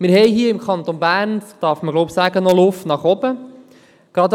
Ich glaube, man darf sagen, dass wir diesbezüglich im Kanton Bern noch Luft nach oben haben.